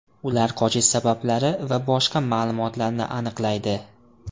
Ular qochish sabablari va boshqa ma’lumotlarni aniqlaydi.